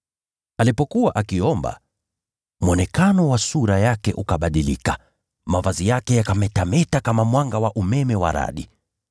Alipokuwa akiomba, sura ya uso wake ikabadilika, nayo mavazi yake yakametameta kama mwanga wa umeme wa radi.